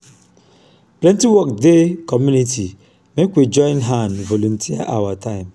plenty work dey community make we join hand volunteer our time.